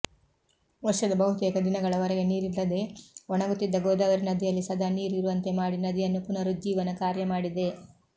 ವರ್ಷದ ಬಹುತೇಕ ದಿನಗಳವರೆಗೆ ನೀರಿಲ್ಲದೆ ಒಣಗುತ್ತಿದ್ದ ಗೋದಾವರಿ ನದಿಯಲ್ಲಿ ಸದಾ ನೀರು ಇರುವಂತೆ ಮಾಡಿ ನದಿಯನ್ನು ಪುನರುಜ್ಜೀವನ ಕಾರ್ಯ ಮಾಡಿದೆ